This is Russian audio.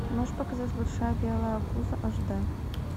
можешь показать большая белая обуза аш д